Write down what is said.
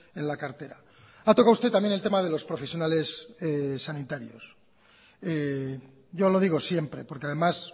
en la cartera ha tocado usted también el tema de los profesionales sanitarios yo lo digo siempre porque además